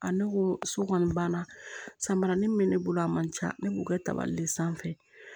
ne ko so kɔni banna samaranin min bɛ ne bolo a man ca ne b'o kɛ tabali de sanfɛ